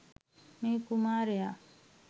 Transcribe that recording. මේ කුමාරයා